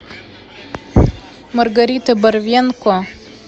маргарита борвенко